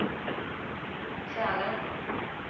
Sälen